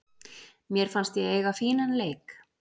Mér fannst ég eiga fínan leik.